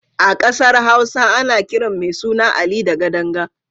A ƙasar Hausa ana kiran mai suna Ali da Gadanga.